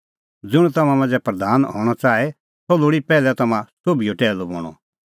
ज़ुंण तम्हां मांझ़ै प्रधान हणअ च़ाहे सह लोल़ी पैहलै तम्हां सोभिओ टैहलू बणअ